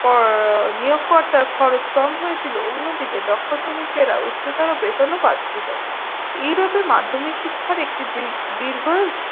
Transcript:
এর নিয়োগকর্তার খরচ কম হয়েছিলো অন্যদিকে দক্ষ শ্রমিকেরা উচ্চতর বেতনও পাচ্ছিল। ইউরোপে মাধ্যমিক শিক্ষার একটি দী দীর্ঘ